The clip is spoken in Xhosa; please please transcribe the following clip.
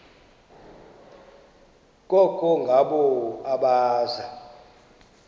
koko ngabo abaza